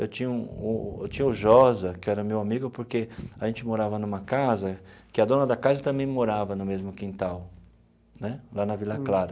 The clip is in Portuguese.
Eu tinha o eu tinha o Josa, que era meu amigo, porque a gente morava numa casa que a dona da casa também morava no mesmo quintal né, lá na Vila Clara.